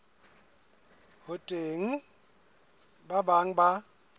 ho teng ba bang ba